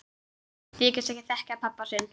Þykist ekki þekkja pabba sinn!